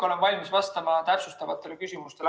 Olen valmis vastama täpsustavatele küsimustele.